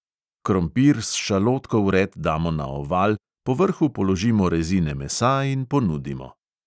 Krompir s šalotko vred damo na oval, po vrhu položimo rezine mesa in ponudimo.